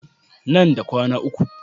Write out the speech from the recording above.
Nan da kwana uku.